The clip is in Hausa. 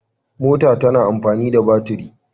Mota tana amfani da baturi.